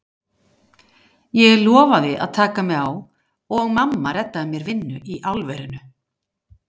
Ég lofaði að taka mig á og mamma reddaði mér vinnu í álverinu.